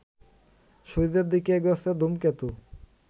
সূর্যের দিকে এগোচ্ছে ধূমকেতু